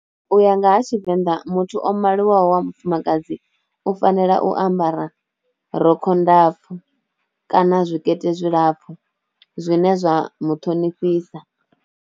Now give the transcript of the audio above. U ya nga ha tshivenḓa muthu o maliwaho wa mufumakadzi u fanela u ambara rokho ndapfu kana zwikete zwilapfhu zwine zwa muṱhonifhisa.